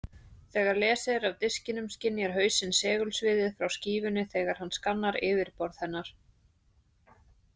Þegar lesið er af diskinum skynjar hausinn segulsviðið frá skífunni þegar hann skannar yfirborð hennar.